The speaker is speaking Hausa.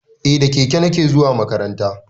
Eh da keke nake zuwa makaranta